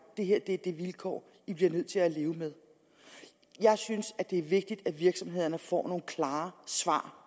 det her er de vilkår i bliver nødt til at leve med jeg synes at det er vigtigt at virksomhederne får nogle klare svar